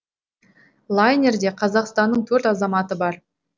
лайнерде қазақстанның төрт азаматы бар